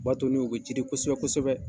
O b'a to n'u bɛ cidi kosɛbɛ kosɛbɛ.